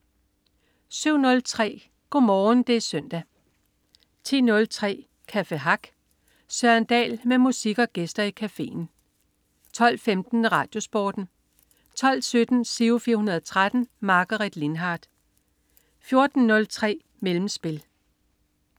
07.03 Go'morgen det er søndag 10.03 Café Hack. Søren Dahl med musik og gæster i cafeen 12.15 RadioSporten 12.17 Giro 413. Margaret Lindhardt 14.03 Mellemspil